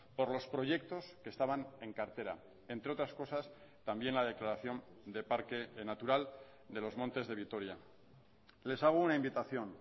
por los proyectos que estaban en cartera entre otras cosas también la declaración de parque natural de los montes de vitoria les hago una invitación